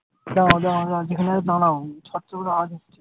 দাঁড়াও দাঁড়াও দাঁড়াও যেখানে আছো দাঁড়াও। ছাদটা বোধহয় আওয়াজ হচ্ছে।